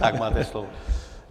Tak, máte slovo.